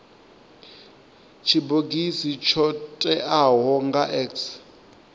tshibogisi tsho teaho nga x